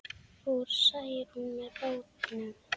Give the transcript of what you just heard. Fór Særún með bátnum.